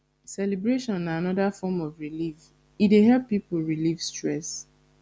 celebration na anoda form of relieve e dey help pipo relieve stress